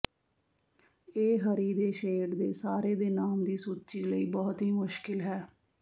ਇਹ ਹਰੀ ਦੇ ਸ਼ੇਡ ਦੇ ਸਾਰੇ ਦੇ ਨਾਮ ਦੀ ਸੂਚੀ ਲਈ ਬਹੁਤ ਹੀ ਮੁਸ਼ਕਲ ਹੈ